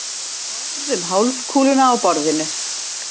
Skorðum hálfkúluna á borðinu.